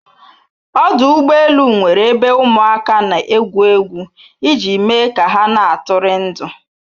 Ọdụ ụgbọ elu nwere ebe ụmụ aka n'egwu egwu iji me ka ha na atụri ndụ